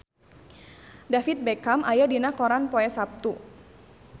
David Beckham aya dina koran poe Saptu